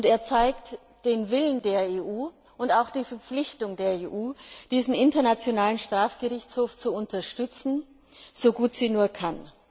Er zeigt den Willen der EU und auch die Verpflichtung der EU, diesen Internationalen Strafgerichtshof zu unterstützen, so gut sie nur kann.